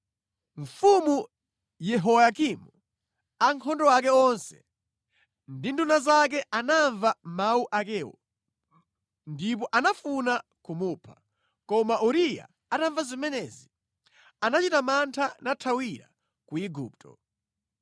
Mfumu Yehoyakimu, ankhondo ake onse ndi nduna zake anamva mawu akewo, ndipo anafuna kumupha. Koma Uriya atamva zimenezi, anachita mantha nathawira ku Igupto.